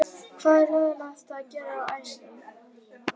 Hvað er leiðinlegast að gera á æfingum?